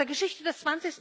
Aus der Geschichte des